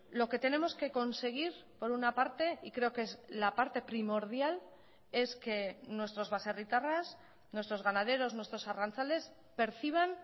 lo que tenemos que conseguir por una parte y creo que es la parte primordial es que nuestros baserritarras nuestros ganaderos nuestros arrantzales perciban